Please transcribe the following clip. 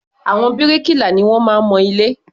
Àwọn bíríkìlà ni wọ́n máa ń mọ ilé.